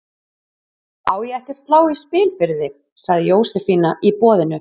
Á ég ekki að slá í spil fyrir þig? sagði Jósefína í boðinu.